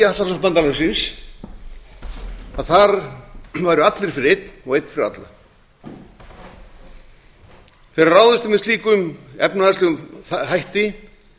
aðalsmerki atlantshafsbandalagsins að þar væru allir fyrir einn og einn fyrir alla þegar ráðist er með slíkum efnahagslegum hætti